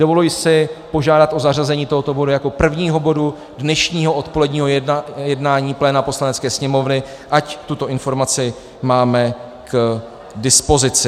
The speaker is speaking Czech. Dovoluji si požádat o zařazení tohoto bodu jako prvního bodu dnešního odpoledního jednání pléna Poslanecké sněmovny, ať tuto informaci máme k dispozici.